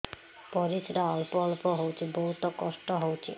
ପରିଶ୍ରା ଅଳ୍ପ ଅଳ୍ପ ହଉଚି ବହୁତ କଷ୍ଟ ହଉଚି